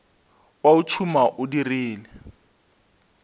wa o tšhuma o dirile